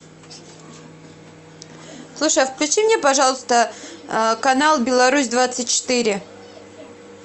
слушай а включи мне пожалуйста канал беларусь двадцать четыре